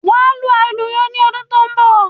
Wà à lu àlùyọ ni ọdún tó ń bọ̀.